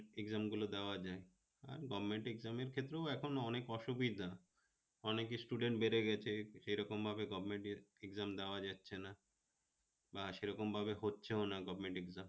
exam গুলো দেওয়া যায়, আর government exam এর ক্ষেত্রেও এখন অনেক অসুবিধা অনেক student বেড়ে গেছে সে রকম ভাবে govement exam দেওয়া যাচ্ছে না, বা সেরকম ভাবে হচ্ছেও না govement exam